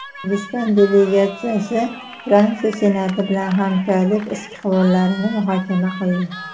O‘zbekiston delegatsiyasi Fransiya Senati bilan hamkorlik istiqbollarini muhokama qildi.